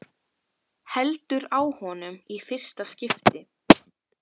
Heldur á honum í fyrsta skipti.